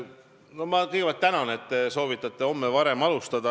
Ma kõigepealt tänan, et te soovitate homme varem alustada.